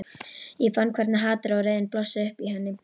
Ég fann hvernig hatrið og reiðin blossuðu upp í henni.